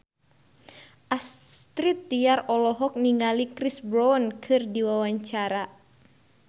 Astrid Tiar olohok ningali Chris Brown keur diwawancara